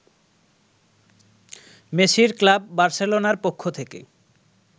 মেসির ক্লাব বার্সেলোনার পক্ষ থেকে